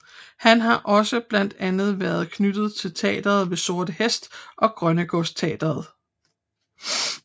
Han har også blandt andet været knyttet til Teatret ved Sorte Hest og Grønnegårdsteatret